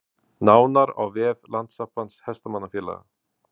Nánar á vef Landssambands hestamannafélaga